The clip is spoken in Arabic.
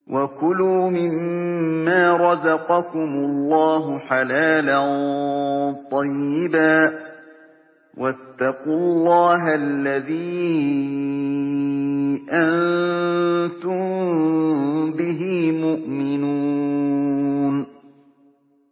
وَكُلُوا مِمَّا رَزَقَكُمُ اللَّهُ حَلَالًا طَيِّبًا ۚ وَاتَّقُوا اللَّهَ الَّذِي أَنتُم بِهِ مُؤْمِنُونَ